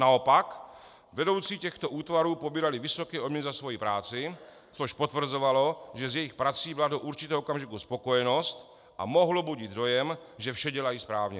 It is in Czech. Naopak, vedoucí těchto útvarů pobírali vysoké odměny za svoji práci, což potvrzovalo, že s jejich prací byla do určitého okamžiku spokojenost, a mohlo budit dojem, že vše dělají správně.